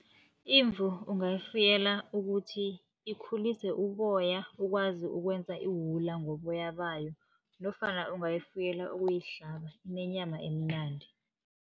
Imvu ungayifuyela ukuthi ikhulise uboya, ukwazi ukwenza iwula ngoboya bayo, nofana ungayifuyela ukuyihlaba inenyama emnandi.